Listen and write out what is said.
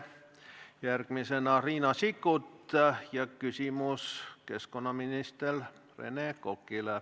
Järgmisena on Riina Sikkutil küsimus keskkonnaminister Rene Kokale.